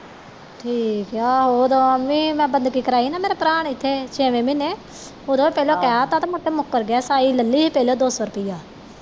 ਠੀਕ ਹੈ ਆਹੋ ਓਦੋ ਵੀ ਮੈ ਬੰਦਗੀ ਕਰਾਇ ਹੀ ਨਾ ਮੇਰੇ ਭਰਾ ਨੇ ਇਥੇ ਛੇਵੇਂ ਮਹੀਨੇਂ ਉਹਦੋਂ ਪਹਿਲਾਂ ਕਹਿ ਦਿੱਤਾ ਤੇ ਬਾਦ ਵਿੱਚੋ ਮੁੱਕਰ ਗਿਆ ਸਾਈਂ ਲੈ ਲਈ ਪਹਿਲੋਂ ਦੋਸੋਂ ਰੁਪਇਆ